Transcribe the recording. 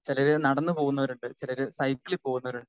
speaker 2 ചിലരെ നടന്നുപോകുന്ന വരുണ്ട് ചിലര് സൈക്കിൾ പോകുന്നവരുണ്ട്